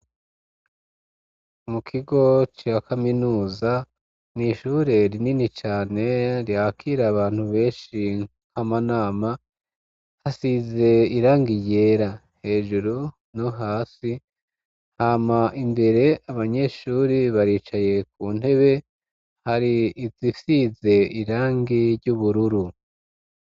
Mu kigo ca kaminuza n'ishure rinini cane ryakira abantu benshi nk'amanama hasize irangi ryera hejuru no hasi, hama imbere abanyeshure baricaye ku ntebe hari hasize irangi ry'ubururu.